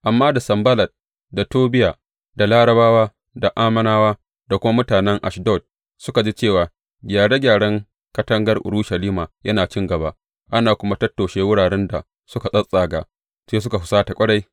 Amma da Sanballat, da Tobiya, da Larabawa, da Ammonawa, da kuma mutanen Ashdod suka ji cewa gyare gyaren katangar Urushalima yana cin gaba, ana kuma tattoshe wuraren da suka tsattsaga, sai suka husata ƙwarai.